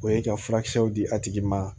O ye ka furakisɛw di a tigi ma